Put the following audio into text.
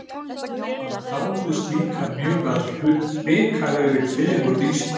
Hann dáðist líka mjög að hrikalegri fegurð Íslands.